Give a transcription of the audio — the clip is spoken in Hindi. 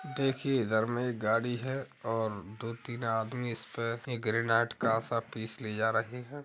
देखिए इधर मे एक गाड़ी है और दो-तीन आदमी इस पर ग्रेनाइट का सा पीस ले जा रहे हैं।